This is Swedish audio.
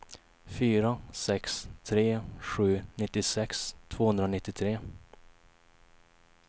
fyra sex tre sju nittiosex tvåhundranittiotre